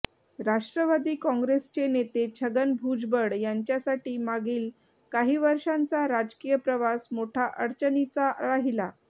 राष्ट्रवादी काँग्रेसचे नेते छगन भुजबळ यांच्यासाठी मागील काही वर्षांचा राजकीय प्रवास मोठा अडचणीचा राहिला